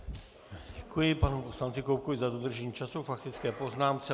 Děkuji panu poslanci Koubkovi za dodržení času k faktické poznámce.